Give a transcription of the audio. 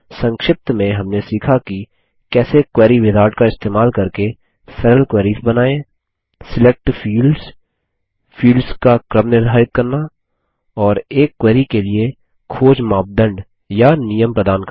संक्षिप्त में हमने सीखा की कैसे क्वेरी विजार्ड का इस्तेमाल करके सरल क्वेरीस बनाएँ सिलेक्ट फील्ड्स फील्ड्स का क्रम निर्धारित करना और एक क्वेरी के लिए खोज मापदंड या नियम प्रदान करना